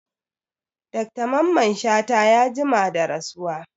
Dr mamman shata ya jima da rasuwa